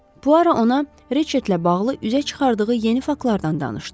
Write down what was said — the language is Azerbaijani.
Puaro ona Ritchettlə bağlı üzə çıxardığı yeni faktlardan danışdı.